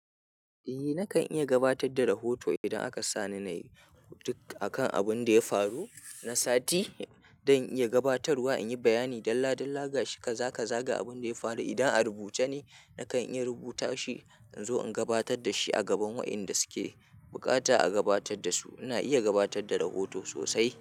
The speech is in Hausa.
Eh nakan iya gabatar da rahoto idan aka sa ni na yi duk akan abin da ya faru na sati don iya gabatarwa, in yi bayani dalla dalla ga shi ka zaga zaga abin da ya faru. Idan a rubuce ne nakan iya rubuta shi in zo in gabatar da shi a gaban waƴanda suke buƙata a gabatar da su. Ina iya gabatar da rahoto sosai.